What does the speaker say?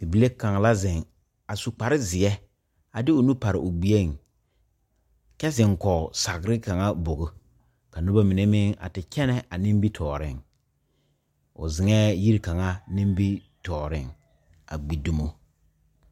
Bibile kaŋa la zeŋe a su kparezeɛ a de o nu pare o gbieŋ kyɛ zeŋ kɔge sagre kaŋa bogi ka noba mine meŋ a te kyɛnɛ a nimitɔɔreŋ o zeŋɛɛ yiri kaŋa nimitɔɔreŋ a gbi dumo.